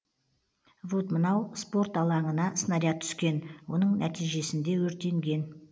вот мынау спорт алаңына снаряд түскен оның нәтижесінде өртенген